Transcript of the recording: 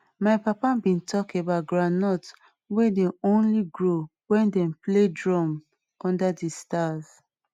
my papa been talk about groundnuts wey dey only grow wen dem play drum under the stars